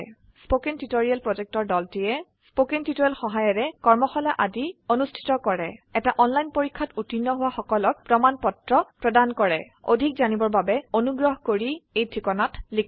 কথন শিক্ষণ প্ৰকল্পৰ দলটিয়ে কথন শিক্ষণ সহায়িকাৰে কৰ্মশালা আদি অনুষ্ঠিত কৰে এটা অনলাইন পৰীক্ষাত উত্তীৰ্ণ হোৱা সকলক প্ৰমাণ পত্ৰ প্ৰদান কৰে অধিক জানিবৰ বাবে অনুগ্ৰহ কৰি contactspoken tutorialorg এই ঠিকনাত লিখক